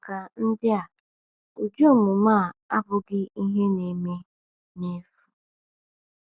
Maka ndị a, ụdị omume a abụghị ihe na-eme n’efu.